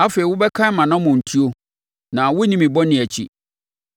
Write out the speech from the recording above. Afei wobɛkan mʼanammɔntuo na worenni me bɔne akyi.